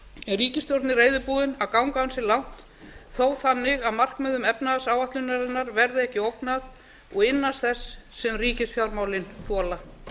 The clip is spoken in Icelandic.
er ríkisstjórnin reiðubúin að ganga ansi langt þó þannig að markmiðum efnahagsáætlunarinnar verði ekki ógnað og innan þess sem ríkisfjármálin þola